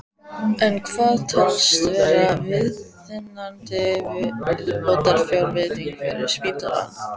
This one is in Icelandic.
En hvað telst vera viðunandi viðbótarfjárveiting fyrir spítalann?